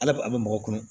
Ala bari a bɛ mɔgɔ kunu